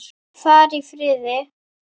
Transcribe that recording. Far í friði.